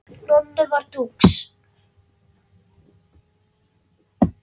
Nonni var dúx.